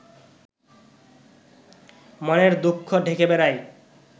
মনের দুঃখ ঢেকে বেড়াই